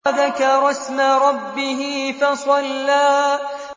وَذَكَرَ اسْمَ رَبِّهِ فَصَلَّىٰ